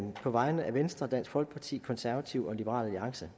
på vegne af venstre dansk folkeparti konservative og liberal alliance